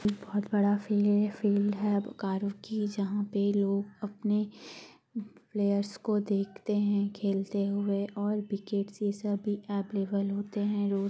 बहुत बड़ा फी ये फील्ड है वकारों की जहाँ पे लोग अपने प्लेयर्स को देखते है। खेलते हुवे और विकेट से सभी अवेलेबल होते है रो--